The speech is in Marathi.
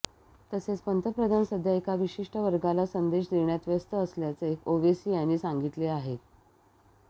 तसेच पंतप्रधान सध्या एका विशिष्ठ वर्गालाच संदेश देण्यात व्यस्त असल्याचे ओवेसी यांनी सांगिलते आहे